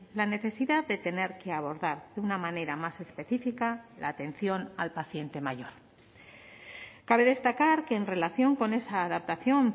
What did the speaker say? la necesidad de tener que abordar de una manera más específica la atención al paciente mayor cabe destacar que en relación con esa adaptación